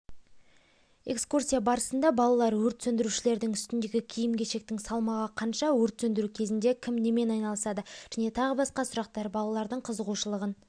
экскурсия барысында балалар өрт сөндірушілердің үстіндегі киім-кешектің салмағы қанша өрт сөндіру кезінде кім немен айналысады және тағы басқа сұрақтар балалардың қызығушылығын